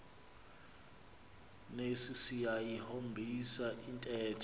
nesi siyayihombisa intetho